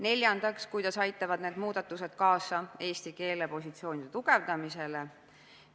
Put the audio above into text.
Neljandaks, kuidas aitavad need muudatused kaasa eesti keele positsiooni tugevdamisele?